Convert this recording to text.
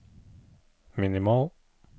minimal